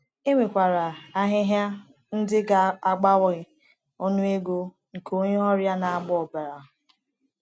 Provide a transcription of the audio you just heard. E nwekwara ahịhịa ndị ga-abawanye ọnụego nke onye ọrịa na-agba ọbara.